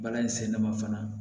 Balani sɛnɛ ma fana